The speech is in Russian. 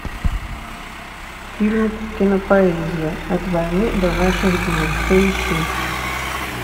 фильмик кинопоэзия от войны до наших дней поищи